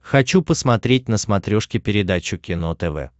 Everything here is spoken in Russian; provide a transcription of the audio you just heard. хочу посмотреть на смотрешке передачу кино тв